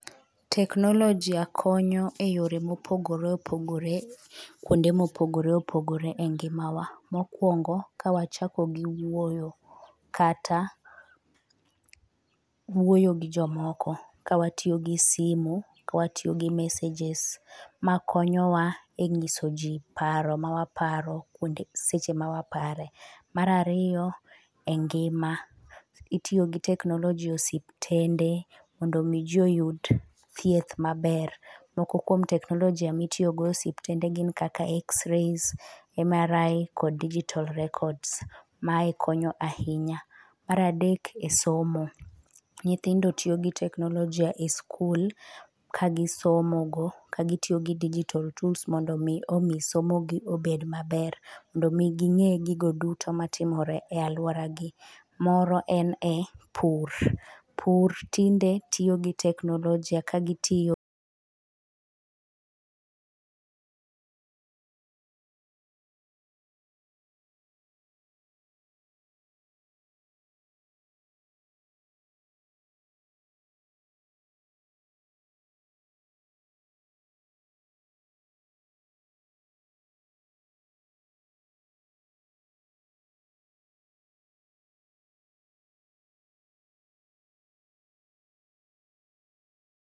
Teknolojia konyo e yore moppgore opogore kuonde mopogore opogore e ngimawa . Mokwongo ka wachako gi wuoyo kata wuoyo gi jomoko ka watiyo gi simu ka watiyo gi messages. Ma konyowa e nyiso jii paro ma waparo seche ma wapare. Mar ariyo e ngima ,itiyo gi teknoloji e osiptende mondo jii oyud thieth maber. Moko kuom teknolojia mitiyo go e osiptende gin kata xray, MRI kod digital records . Mae konyo ahinya . Mae adek e somo , nyithndo tiyo gi teknolojia e skul ka gisomo go ka gitiyo gi digital tools mondo mi somo gi obed maber mondo mi gibed gigo duto matimore e aluoragi moro en e pur, pur tinde tiyo gi teknolojia ka gitiyo